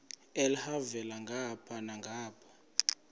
elhavela ngapha nangapha